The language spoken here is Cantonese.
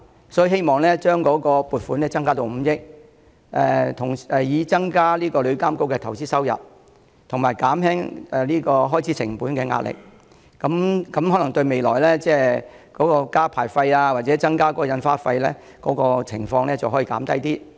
因此，我希望政府將撥款提升至5億元，以增加投資收入，減輕旅監局開支成本的壓力，並有助減低未來增加牌費或印花徵費的機會。